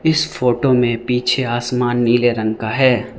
इस फोटो में पीछे आसमान नीले रंग का है।